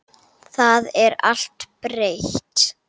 Það er allt breytt.